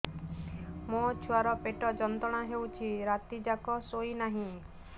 ମୋ ଛୁଆର ପେଟ ଯନ୍ତ୍ରଣା ହେଉଛି ରାତି ଯାକ ଶୋଇନାହିଁ